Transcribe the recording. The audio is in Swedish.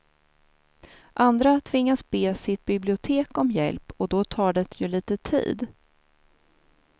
Andra tvingas be sitt bibliotek om hjälp och då tar det ju lite tid.